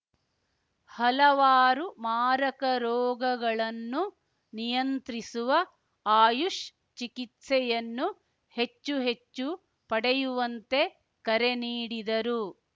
ಹಲವಾರು ಮಾರಕ ರೋಗಗಳನ್ನು ನಿಯಂತ್ರಿಸುವ ಆಯುಷ್‌ ಚಿಕಿತ್ಸೆಯನ್ನು ಹೆಚ್ಚು ಹೆಚ್ಚು ಪಡೆಯುವಂತೆ ಕರೆ ನೀಡಿದರು